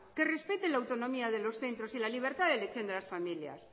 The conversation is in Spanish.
que respete la autonomía de los centros y la libertad de elección de las familias